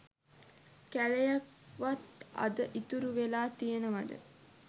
කැලයක් වත් අද ඉතුරු වෙලා තියනවද?